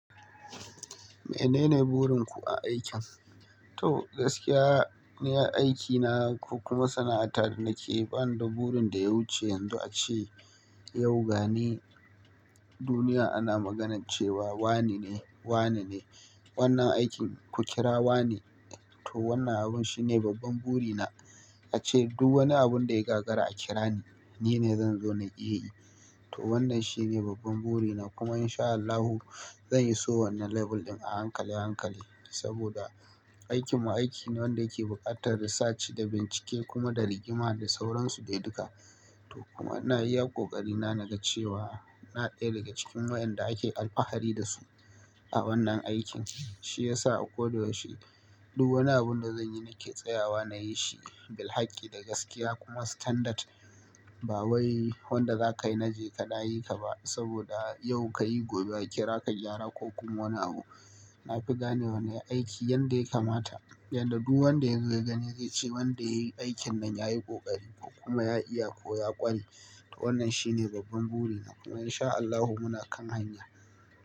Menene burin ku a aikin? To gaskiya, ni a aikina ko kuma sana'ata da nake yi ba ni da burin da ya wuce yanzu ace yau ga ni duniya ana maganar cewa wane ne, wane ne. Wannan aikin ku kira wane, to wannan abun shine babban buri na. Ace duk wani abun da ya gagara a kira ni, ni ne zan zo na iya yi. To wannan shine babban buri na kuma in sha Allahu, zan iso wannan level ɗin a hankali, a hankali. Saboda aikin mu aiki ne wanda yake buƙatar research da bincike kuma da rigima da sauransu dai duka. To kuma ina iya ƙoƙari na, na ga cewa ina ɗaya daga cikin waƴanda ake alfahari da su a wannan aikin. Shi yasa a koda yaushe duk wani abun da zan yi nake tsayawa na yi shi bil haƙƙi da gaskiya kuma standard. Ba wai wanda zaka yi na jeka na yi ka ba saboda yau ka yi, gobea kira ka gyara ko kuma wani abu. Nafi ganewa nayi aiki yanda yakamata, yanda duk wanda yazo ya gani zai ce wanda ya yi aikin nan yayi ƙoƙari kuma ya iya ko ya ƙware. To wannan shine babban buri na kuma in sha Allahu muna kan hanya.